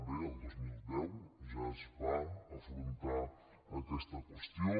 bé el dos mil deu ja es va afrontar aquesta qüestió